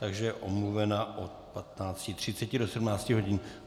Takže je omluvena od 15.30 do 17 hodin.